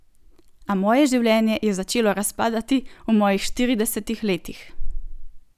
A moje življenje je začelo razpadati v mojih štiridesetih letih.